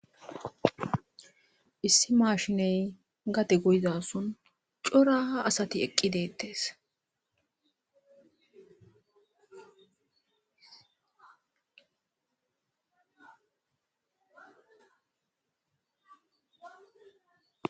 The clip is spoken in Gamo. issi maashiney gade goyzason coraha asati eqqi deettees